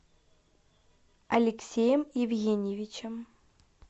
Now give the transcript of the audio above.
алексеем евгеньевичем